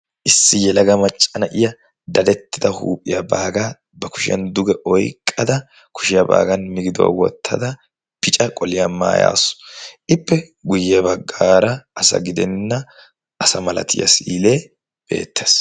issi yelaga maccana iya dadettida huuphiyaa baagaa ba kushiyan duge oiqqada kushiyaa baagan migiduwaa wottada bica qoliyaa maayaasu ippe guyye baggaara asa gidenna asa malatiyaa siilee beettaes.